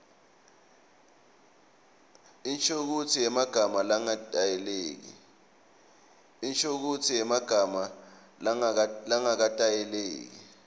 inshokutsi yemagama langaketayeleki